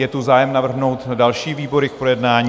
Je tu zájem navrhnout další výbory k projednání?